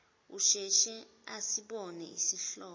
asheshe asibone isihlobo